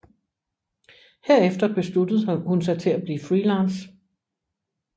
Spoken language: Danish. Herefter besluttede hun sig til at blive freelance